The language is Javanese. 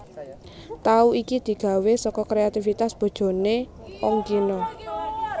Tahu iki digawé saka kréativitas bojoné Ongkino